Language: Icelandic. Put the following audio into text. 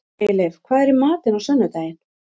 Ægileif, hvað er í matinn á sunnudaginn?